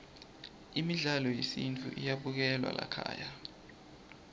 midlalo yesintfu iyabukelwa laykhaya